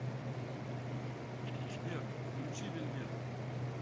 сбер включи вельвет